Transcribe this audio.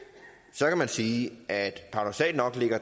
så kan man sige at